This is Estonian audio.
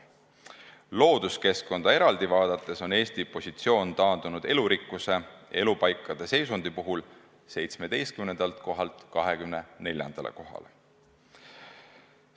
Looduskeskkonda eraldi vaadates on Eesti positsioon taandunud elurikkuse ja elupaikade seisundi puhul 17. kohalt 24. kohale.